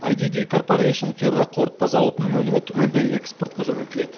вайдиди корпорэйшн ферроқорытпа зауытының өнімі түгелдей экспортқа жөнелтіледі